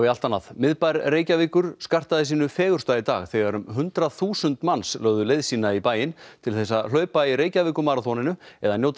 miðbær Reykjavíkur skartaði sínu fegursta í dag þegar um hundrað þúsund manns lögðu leið sína í bæinn til þess að hlaupa í Reykjavíkurmaraþoninu eða njóta